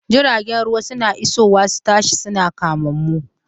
Jiragen ruwa suna isowa su tashi, suna kama mu.